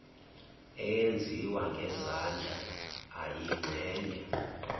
eyenziwa ngezandla eyingxenye